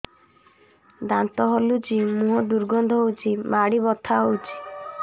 ଦାନ୍ତ ହଲୁଛି ମୁହଁ ଦୁର୍ଗନ୍ଧ ହଉଚି ମାଢି ବଥା ହଉଚି